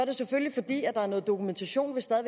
nu er noget dokumentation vi stadig